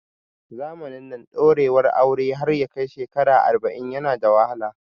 Zamanin nan, ɗorewar aure har yakai shekara arba'in yana da wahala